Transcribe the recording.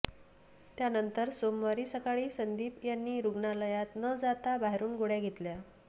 त्यानंतर सोमवारी सकाळी संदीप यांनी रुग्णालयात न जाता बाहेरून गोळ्या घेतल्या